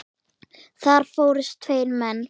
Þar fórust tveir menn.